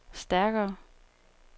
stærkere